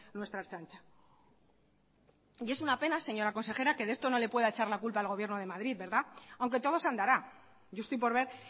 nuestra ertzaintza y es una pena señora consejera que de esto no le pueda echar la culpa el gobierno de madrid aunque todo se andará yo estoy por ver